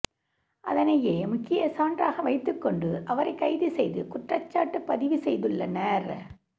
அதனையே முக்கிய சான்றாக வைத்துகொண்டு அவரை கைது செய்து குற்றச்சாட்டு பதிவு செய்துள்ளனர்